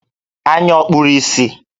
Anya ọ̀ kpuru ìsì?